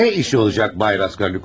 Ne işi olacaq bay Raskolnikov?